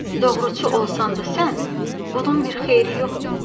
doğruçu olsan da sən, bunun bir xeyri yoxdur.